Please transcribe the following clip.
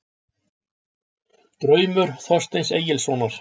Draumur Þorsteins Egilssonar